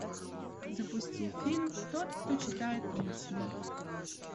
запусти фильм тот кто читает мысли